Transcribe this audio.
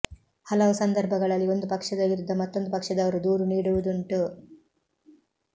ಹಲವು ಸಂದರ್ಭಗಳಲ್ಲಿ ಒಂದು ಪಕ್ಷದ ವಿರುದ್ಧ ಮತ್ತೊಂದು ಪಕ್ಷದವರು ದೂರು ನೀಡುವುದುಂಟು